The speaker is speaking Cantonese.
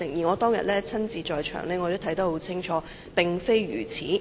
我當天也在場看得一清二楚，事實並非如此。